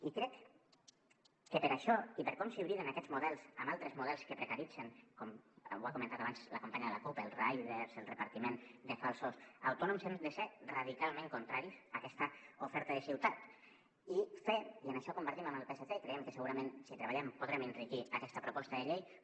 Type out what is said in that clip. i crec que per això i per com s’hibriden aquests models amb altres models que precaritzen com ho ha comentat abans la companya de la cup els riders el repartiment de falsos autònoms hem de ser radicalment contraris a aquesta oferta de ciutat i fer i això ho compartim amb el psc i creiem que segurament si ho treballem podrem enriquir aquesta proposta de llei